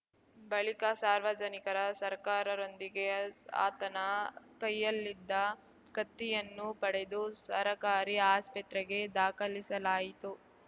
ಬಳಿಕ ಸಾರ್ವಜನಿಕರ ಸರ್ಕಾರದೊಂದಿಗೆ ಆತನ ಕೈಯ್ಯಲ್ಲಿದ್ದ ಕತ್ತಿಯನ್ನು ಪಡೆದು ಸರಕಾರಿ ಆಸ್ಪತ್ರೆಗೆ ದಾಖಲಿಸಲಾಯಿತು